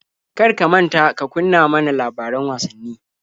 Kar ka manta ka kunna ma na labaran wasanni.